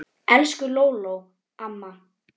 Elsku Lóló amma.